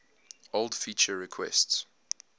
old feature requests